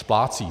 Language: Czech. Splácí.